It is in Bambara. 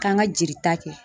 K'an ka jeli ta kɛ.